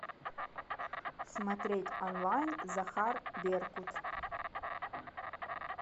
смотреть онлайн захар беркут